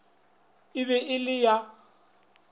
e be e le ya